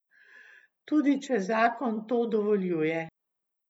Tudi če zakon to dovoljuje.